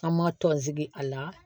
An ma tɔnsigi a la